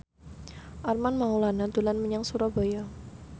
Armand Maulana dolan menyang Surabaya